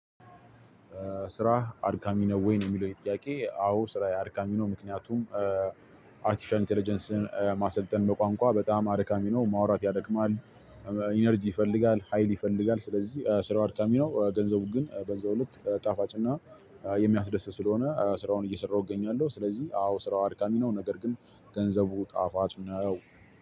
ስራ አድካሚ ነው ወይ? የሚለው የጥያቄ አዎ ስራ አድካሚ ነው ምክንያቱም አርቲፍሻል ኢንተለጀንስን ማሰልጠን በቋንቋ በጣም አድካሚ ነው። ማውራት ያደክማል። ኢነርጂ ይፈልጋል። ሀይል ይፈልጋል። ስለዚህ ስራ አድካሚ ነው። ገንዘቡ ግን በዛው ልክ ጣፋጭና የሚያስደስት ስለሆነ ስራውን እየሰራሁ እገኛለሁ። ስለዚህ አዎ ስራው አድካሚ ነው። ነገር ግን ገንዘቡ ጣፋጭ ነው።